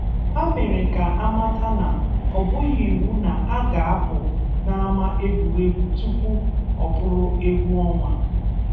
Ha mere ka a mata na ọ bụghị iwu na a ga-apụ n'ama egwuregwu tupu ọ bụrụ egwu ọnwa.